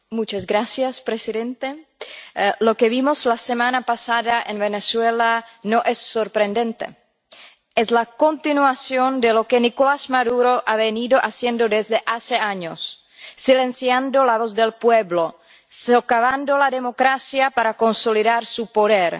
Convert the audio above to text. Señor presidente, lo que vimos la semana pasada en Venezuela no es sorprendente es la continuación de lo que Nicolás Maduro ha venido haciendo desde hace años, silenciando la voz del pueblo, socavando la democracia para consolidar su poder